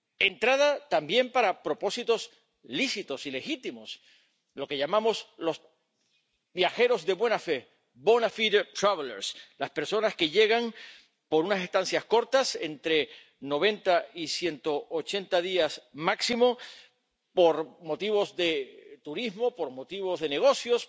Entrada también para propósitos lícitos y legítimos lo que llamamos los viajeros de buena fe, las personas que llegan por unas estancias cortas —entre 90 y 180 días máximo— por motivos de turismo, de negocios,